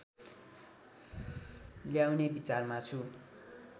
ल्याउने विचारमा छु